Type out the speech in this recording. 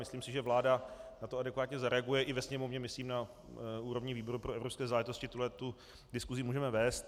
Myslím si, že vláda na to adekvátně zareaguje, i ve Sněmovně myslím na úrovni výboru pro evropské záležitosti tuhle tu diskusi můžeme vést.